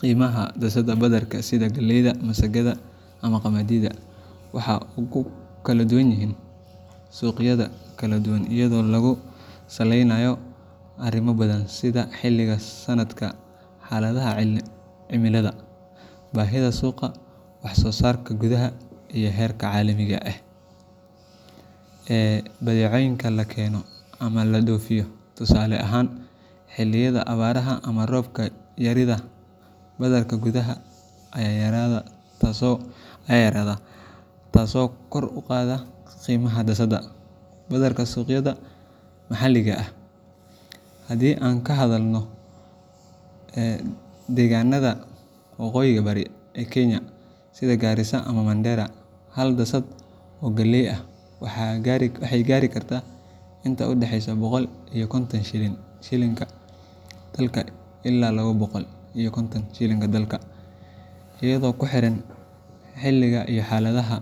Qiimaha daasadda badarka sida galleyda, masagada, ama qamadi, waxa uu ku kala duwan yahay suuqyada kala duwan iyadoo lagu salaynayo arrimo badan sida xilliga sanadka, xaaladaha cimilada, baahida suuqa, wax soo saarka gudaha, iyo heerka caalamiga ah ee badeecooyinka la keeno ama la dhoofiyo. Tusaale ahaan, xilliyada abaaraha ama roob yarida, badarka gudaha ayaa yaraada taasoo kor u qaadda qiimaha daasadda badarka suuqyada maxalliga ah. Haddii aan ka hadalno deegaannada waqooyiga bari ee Kenya sida Garissa ama Mandera, hal daasad oo galley ah waxay gaari kartaa inta u dhaxeysa boqol iyo konton shillinka dalka ilaa laba boqol iyo konton shilinka dalka , iyadoo ku xiran xilliga iyo xaaladda